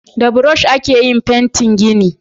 Da burosh a ke yin fentin gini